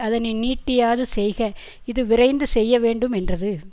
அதனை நீட்டியாது செய்க இது விரைந்து செய்யவேண்டு மென்றது